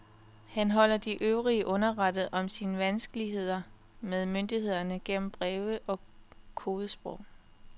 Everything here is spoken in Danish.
Han holder de øvrige underrettet om sine vanskeligheder med myndighederne gennem breve i kodesprog.